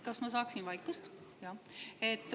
Kas ma saaksin vaikust?